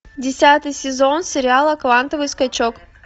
десятый сезон сериала квантовый скачок